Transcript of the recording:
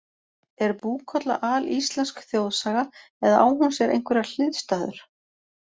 Er Búkolla alíslensk þjóðsaga eða á hún sér einhverjar hliðstæður?